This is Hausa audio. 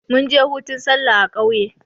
munje hutun sallah a kauye